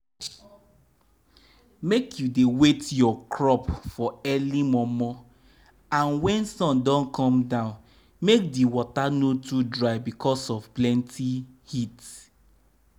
make u dey wait your crop for early momo and wen sun don go down make di water no too dry bicos of plenty heat.